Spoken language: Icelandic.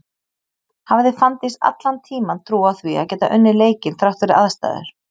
Hafði Fanndís allan tíman trú á því að geta unnið leikinn þrátt fyrir aðstæður?